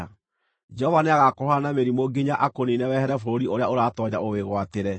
Jehova nĩagakũhũũra na mĩrimũ nginya akũniine wehere bũrũri ũrĩa ũratoonya ũwĩgwatĩre.